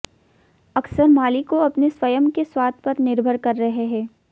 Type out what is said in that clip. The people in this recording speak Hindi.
अक्सर मालिकों अपने स्वयं के स्वाद पर निर्भर कर रहे हैं